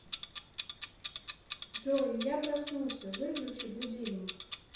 джой я проснулся выключи будильник